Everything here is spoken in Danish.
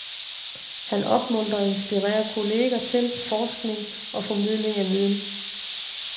Han opmuntrer og inspirerer kolleger til forskning og formidling af viden.